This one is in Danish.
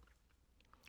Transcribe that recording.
DR K